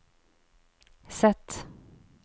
Z